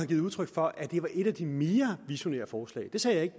givet udtryk for at det var et af de mere visionære forslag det sagde jeg ikke